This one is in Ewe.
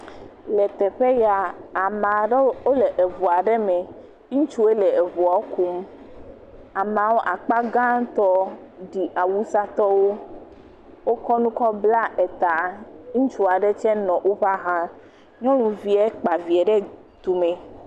Le teƒe ya, ame aɖewo wole eŋu aɖe me, ŋutsuwoe le eŋua kum, amewo akpa gãtɔ ɖi awusatɔwo, wokɔ nu kɔ bla eta, ŋutsu aɖe tsɛ nɔ woƒe axa, nyɔnuvie kpa vie ɖe tumee.